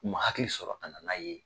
U man hakili sɔrɔ ka na n'a ye.